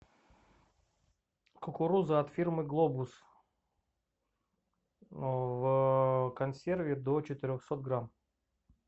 кукуруза от фирмы глобус в консерве до четырехсот грамм